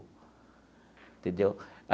Entendeu?